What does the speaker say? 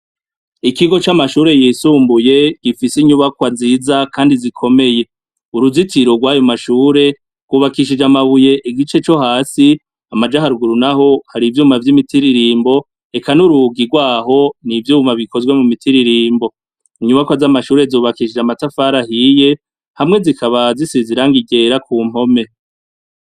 Ikigo camashure yisumbuye gifise inyubakwa nziza kandi zikomeye uruzitiro rwayomashure gubakishije amabuye igice cohasi amaja haruguru naho hari ivyuma vyimitiririmbo eka nurugi nivyuma bikoze mubutiririmbo inyubakwa zamashure zubakishije amatafari ahiye hamwe zikaba zisize ibara ryera kumpome